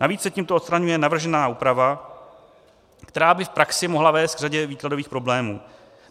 Navíc se tímto odstraňuje navržená úprava, která by v praxi mohla vést k řadě výkladových problémů.